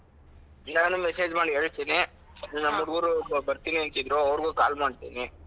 ನಾನು message ಮಾಡಿ ಹೇಳ್ತೀನಿ ನಮ್ ಹುಡ್ಗುರು ಬರ್ತೀನಿ ಅಂತಿದ್ರು ಅವ್ರುಗು call ಮಾಡ್ತೀನಿ.